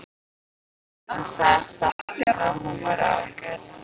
Hann sagðist þekkja hana og hún væri ágæt.